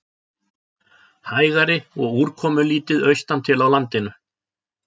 Hægari og úrkomulítið austantil á landinu